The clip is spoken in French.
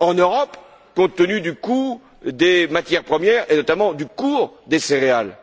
en Europe, compte tenu du coût des matières premières, et notamment du cours des céréales.